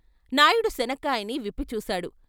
నాయుడు శనక్కాయని విప్పిచూశాడు.